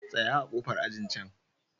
Tsaya a ƙofar ajin can.